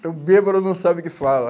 Então, bêbado não sabe o que fala.